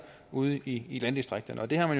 ude i i landdistrikterne og det har